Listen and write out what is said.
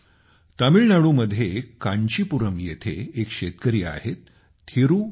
तामिळनाडूमध्ये कांचीपुरम येथे एक शेतकरी आहेत थिरू के